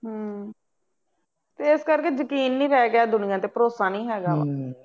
ਹੂੰ ਇਸ ਕਰਕੇ ਯਕੀਨ ਨਹੀਂ ਰਹਿ ਗਿਆ ਦੁਨੀਆਂ ਤੇ ਭਰੋਸਾ ਨਹੀਂ ਹੈਗਾ